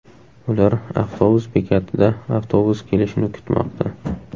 Ular avtobus bekatida avtobus kelishini kutmoqda.